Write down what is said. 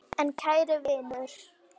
En kæri vinur.